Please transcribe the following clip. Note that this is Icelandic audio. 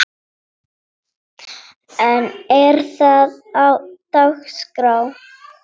En er það á dagskrá?